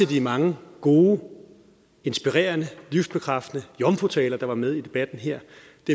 de mange gode inspirerende livsbekræftende jomfrutaler der var med i debatten her